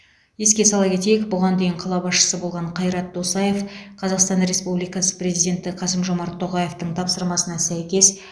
еске сала кетейік бұған дейін қала басшысы болған қайрат досаев қазақстан республикасы президенті қасым жомарт тоқаевтың тапсырмасына сәйкес